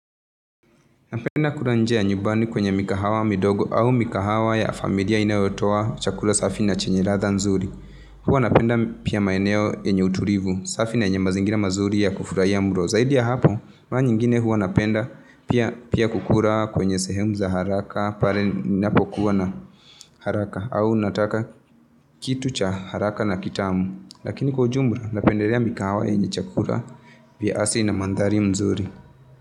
Napenda kura njea nyubani kwenye mikahawa midogo au mikahawa ya familia inayotoa chakula safi na chenye radha nzuri. Huwa napenda pia maeneo yenye utulivu, safi na yenye mazingira mazuri ya kufuraia mroz. Zaidi ya hapo, mara nyingine huwa napenda pia kukura kwenye sehemu za haraka, pare ninapokuwa na haraka au nataka kitu cha haraka na kitamu. Lakini kwa ujumra napenderea mikahawa yenye chakula vya asi na mandhari mzuri.